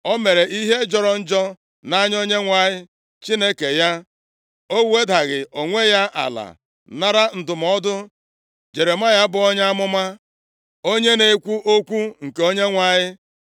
O mere ihe jọrọ njọ nʼanya Onyenwe anyị Chineke ya, o wedaghị onwe ya ala nara ndụmọdụ Jeremaya bụ onye amụma, onye na-ekwu okwu nke Onyenwe anyị.